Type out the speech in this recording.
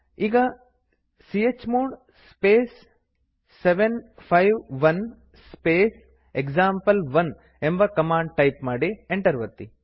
ಈಗ chmod space 751 space example one ಎಂಬ command type ಮಾಡಿ ಎಂಟರ್ ಒತ್ತಿ